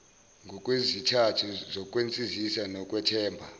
ngokwezizathu zokwenzisisa ngokwethemba